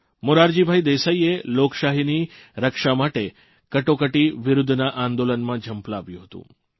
મોરારજીભાઇ દેસાઇએ લોકશાહીની રક્ષા માટે કટોકટી વિરૂદ્ધના આંદોલનમાં ઝંપલાવ્યું હતું